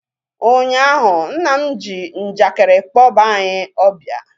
ụnyaahụ, nna m ji njakịrị kpọba anyị ọbịa